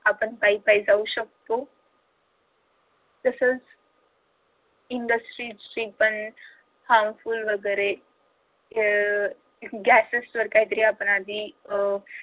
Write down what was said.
आपण पायी पायी जाऊ शकतो. तसंच industries चे पण harmful वगैरे अह gases वर पण आपण काहीतरी अह